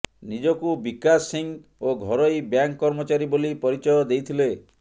ନିଜକୁ ବିକାଶ ସିଂ ଓ ଘରୋଇ ବ୍ୟାଙ୍କ କର୍ମଚାରୀ ବୋଲି ପରିଚୟ ଦେଇଥିଲେ